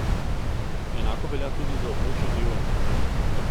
Enako velja tudi za območje evra.